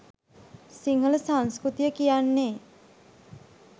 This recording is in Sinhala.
සිංහල සංස්කෘතිය කියන්නේ